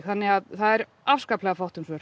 þannig að það er afskaplega fátt um svör